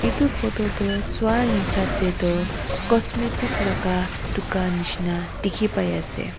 etu photo tu sua hisab se tu cosmetic laga dukan nishina dekhi pai ase.